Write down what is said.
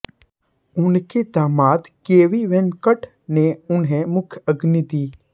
उनके दामाद केबी वेंकट ने उन्हें मुखाग्नि दी